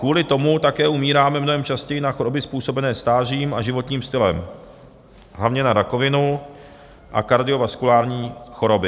Kvůli tomu také umíráme mnohem častěji na choroby způsobené stářím a životním stylem, hlavně na rakovinu a kardiovaskulární choroby.